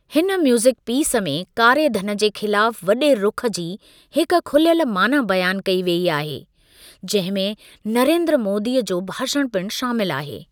हिन music piece में कारे धन जे ख़िलाफ़ वॾे रुख जी हिक खुलियल माना बयान कई वेई आहे, जंहिं में नरेंद्र मोदीअ जो भाषण पिणु शामिल आहे।